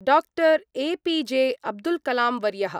doctor APJ अब्दुल्कलांवर्यः